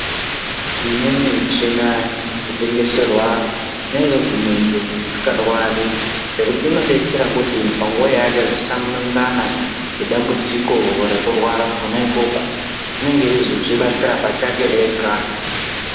Imweni michina yotengeserwa kunyange kumunhu usingarwari nekuti inodetsera kuti panguwa yaachazosangana nedambudziko rekurwara kona ikoko unenge eizozvibatsira pachake ega.